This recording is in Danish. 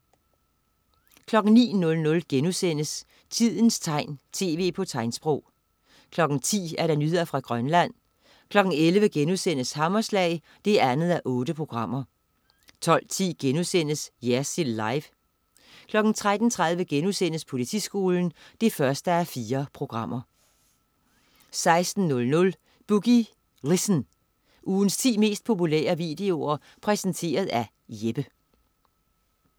09.00 Tidens tegn, tv på tegnsprog* 10.00 Nyheder fra Grønland 11.00 Hammerslag 2:8* 12.10 Jersild Live* 13.30 Politiskolen 1:4* 16.00 Boogie Listen. Ugens ti mest populære videoer præsenteret af Jeppe